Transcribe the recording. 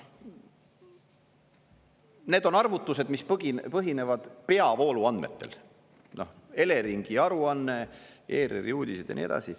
Need on arvutused, mis põhinevad peavooluandmetel: Eleringi aruanne, ERR-i uudised ja nii edasi.